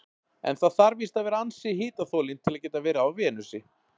En það þarf víst að vera ansi hitaþolinn til að geta verið á Venusi.